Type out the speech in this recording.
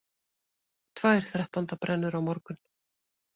Tvær þrettándabrennur á morgun